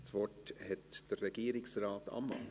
Das Wort hat Regierungsrat Ammann.